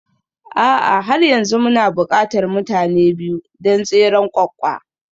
A'a har yanzu muna buƙatar mutane biyu don tseren ƙwaƙƙwa